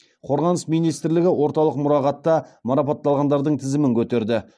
қорғаныс министрлігі орталық мұрағатта марапатталғандардың тізімін көтерді